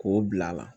K'o bila a la